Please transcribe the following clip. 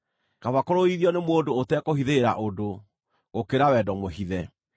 Kaba kũrũithio nĩ mũndũ ũtekũhithĩrĩra ũndũ gũkĩra wendo mũhithe.